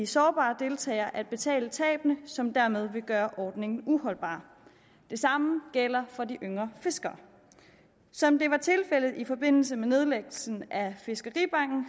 sårbare deltagere at betale tabene som dermed vil gøre ordningen uholdbar det samme gælder for de yngre fiskere som det var tilfældet i forbindelse med nedlæggelsen af fiskeribanken